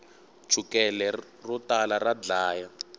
chukele ro tala ra dlaya